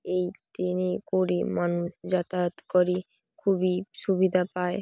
এই ট্রেন -এ করে মানুষ যাতায়াত করে খুবই সুবিধা পায়।